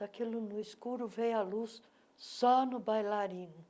Daquilo no escuro, veio a luz só no bailarino.